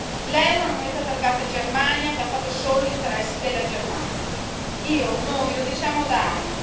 L'euro è una moneta targata Germania che ha fatto solo gli interessi della Germania. Io, noi lo diciamo da anni.